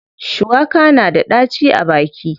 Shuwaka na da ɗaci a baki.